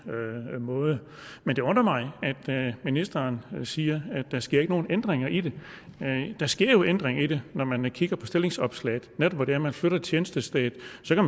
måde men det undrer mig at ministeren siger at der ikke sker nogen ændringer i det der sker jo ændringer i det når man kigger på stillingsopslaget netop hvor det er at man flytter tjenestestedet